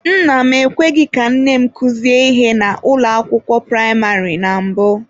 Nna m ekweghị ka nne m kuzie ihe na ụlọ akwụkwọ praịmarị na mbụ.